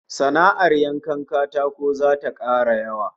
Sana'ar yankan katako zata kara yawa